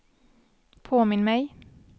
påminn mig